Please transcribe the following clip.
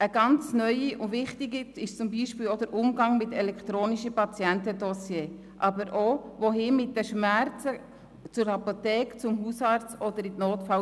Ein neues, wichtiges Thema ist der Umgang mit den elektronischen Patientendossiers, aber auch die Frage, wohin man gehen soll, wenn man Schmerzen hat: in die Apotheke, zum Hausarzt oder in die Notaufnahme?